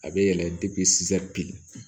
A bɛ yɛlɛ bi